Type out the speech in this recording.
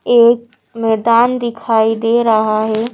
एक मैदान दिखाई दे रहा है।